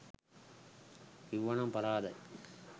කිව්ව නම් පරාදයි